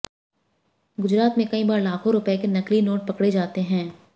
गुजरात में कई बार लाखों रुपए के नकली नोट पकड़े जाते हैं